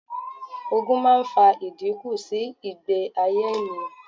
Ogun máa ń fa ìdínkù sí ìgbé ayé ènìyàn.